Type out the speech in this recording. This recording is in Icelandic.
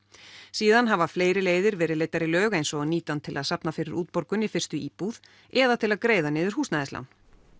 síðan hafa fleiri leiðir verið leiddar í lög eins og að nýta hann til að safna fyrir útborgun í fyrstu íbúð eða til að greiða niður húsnæðislán